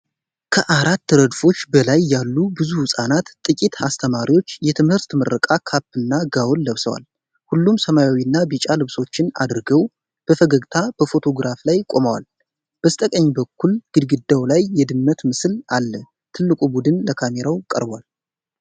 ከአራት ረድፎች በላይ ያሉ ብዙ ህጻናትና ጥቂት አስተማሪዎች የትምህርት ምረቃ ካፕ እና ጋውን ለብሰዋል። ሁሉም ሰማያዊና ቢጫ ልብሶችን አድርገው በፈገግታ በፎቶግራፍ ላይ ቆመዋል። በስተቀኝ በኩል ግድግዳው ላይ የድመት ምስል አለ። ትልቁ ቡድን ለካሜራው ቀርቧል።